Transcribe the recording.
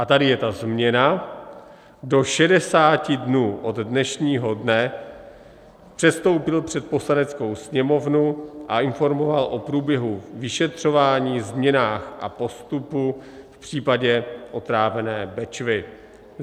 a tady je ta změna - do 60 dnů od dnešního dne předstoupil před Poslaneckou sněmovnu a informoval o průběhu vyšetřování, změnách a postupu v případě otrávené Bečvy,